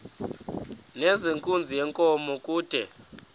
nezenkunzi yenkomo kude